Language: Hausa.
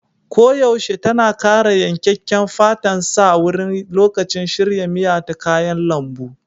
Koyaushe tana ƙara yankakken fatan sa wurin lokacin shirya miya ta kayan lambu.